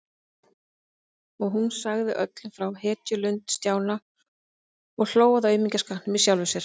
Og hún sagði öllum frá hetjulund Stjána og hló að aumingjaskapnum í sjálfri sér.